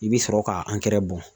I bɛ sɔrɔ k'a angɛrɛ bɔn